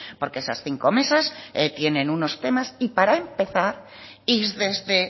porque esas cinco mesas tienen unos temas y para empezar y desde